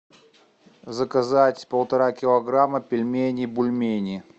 заказать полтора килограмма пельменей бульмени